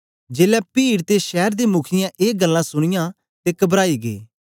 जेलै पीड़ ते शैर दे मुखीयें ए गल्लां सुनीयां ते कबराई गै